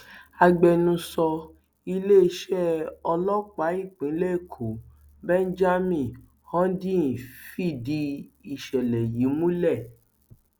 agbẹnusọ iléeṣẹ ọlọpàá ìpínlẹ èkó benjamin hondyin fìdí ìṣẹlẹ yìí múlẹ